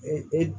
Ee e